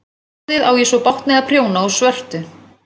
Nú orðið á ég svo bágt með að prjóna úr svörtu.